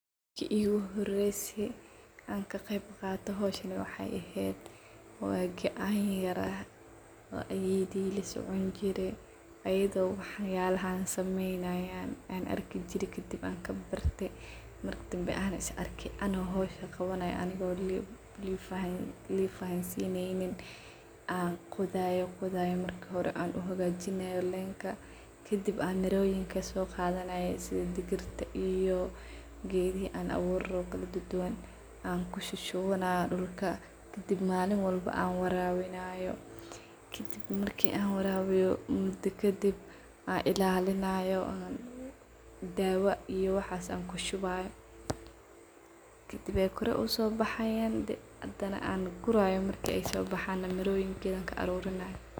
Marki igu horeysay an ka qeeb qaato hawshan waxay eheed wa gacan yaraa oo ayeyday lasocon jire ayadho wax yaalahan samenayan an arki jire kadib waxan kabarte marki dambe an i s arke ano hawshan qawanayo anigo laa ifahansin an qodhayo qodhayo marki hore aan uhagajinayo leenka kadib an miroyin kasogadhanayo sidha digirta iyo geedhihi aan aburani rawo kaladaduwan an kushuwanayo dulka kadib manin walba an warawinayo kadib marka aan warawiyo kadib aan ilaalinayo daawa iyo waxas aan kushuwayo kadib ay koor usobaxayan hadana aan qurayo marki aay soo baxan miroyinka na an ka arurinayo.